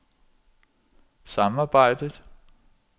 samarbejdet